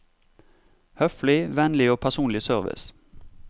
Høflig, vennlig og personlig service.